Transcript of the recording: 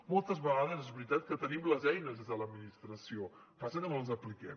moltes vegades és veritat que tenim les eines des de l’administració passa que no les apliquem